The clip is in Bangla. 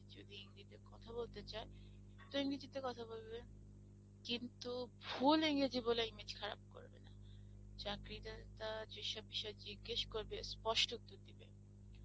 যদি এন্গ্রেগিতে কথা বলতে চায় তো ইংরেজি তে কথা বলবে কিন্তু ভুল ইংরেজি বলে ইমেজ খারাপ করবে না, চাকরি দাতা যেসব বিষয়ে জিজ্ঞেস করবে স্পষ্ট উত্তর দেবে